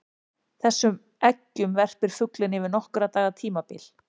Þessum eggjum verpir fuglinn yfir nokkurra daga tímabil.